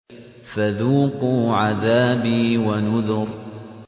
فَذُوقُوا عَذَابِي وَنُذُرِ